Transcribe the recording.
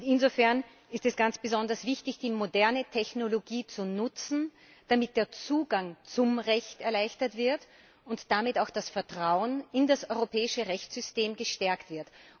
Insofern ist es ganz besonders wichtig, die moderne Technologie zu nutzen, damit der Zugang zum Recht erleichtert wird und damit auch das Vetrauen in das europäische Rechtssystem gestärkt wird.